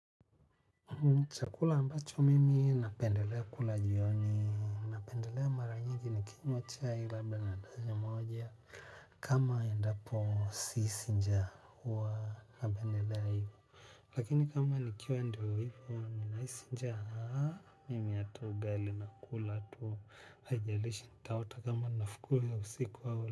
Chakula ambacho mimi napendelea kula jioni. Niki ni kinywa chai labda na adazi moja. Kama endapo sisija kuwa napendelea hivo. Lakini kama nikiwa ndio hivo ni naisi njaa mimi hata ugali na kula hatu ajalishi nitaota kama nafukuzwa usiku hivu.